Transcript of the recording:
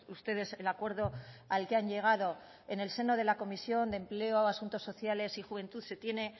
ustedes el acuerdo al que han llegado en el seno de la comisión de empleo asuntos sociales y juventud se tiene